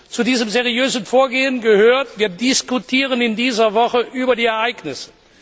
Zu diesem seriösen Vorgehen gehört Wir diskutieren in dieser Woche über die Ereignisse.